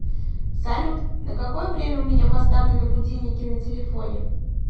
салют на какое время у меня поставлены будильники на телефоне